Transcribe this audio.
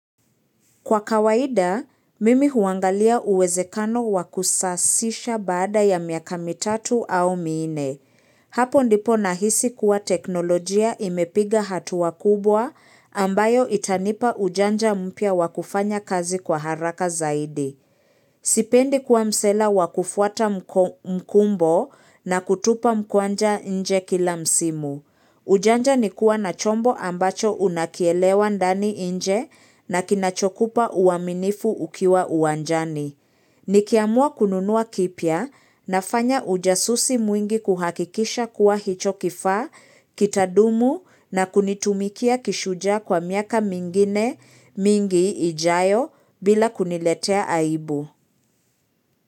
Kwa kawaida, mimi huangalia uwezekano wa kusasisha baada ya miaka mitatu au miine. Hapo ndipo nahisi kuwa teknolojia imepiga hatua kubwa ambayo itanipa ujanja mpya wa kufanya kazi kwa haraka zaidi. Sipendi kuwa msela wa kufuata mkumbo na kutupa mkwanja nje kila msimu. Ujanja ni kuwa na chombo ambacho unakielewa ndani, nje na kinachokupa uaminifu ukiwa uwanjani. Nikiamua kununuwa kipya nafanya ujasusi mwingi kuhakikisha kuwa hicho kifaa, kitadumu na kunitumikia kishujaa kwa miaka mingine mingi ijayo bila kuniletea aibu.